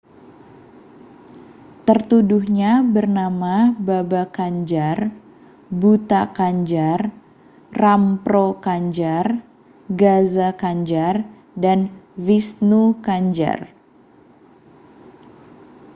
tertuduhnya bernama baba kanjar bhutha kanjar rampro kanjar gaza kanjar dan vishnu kanjar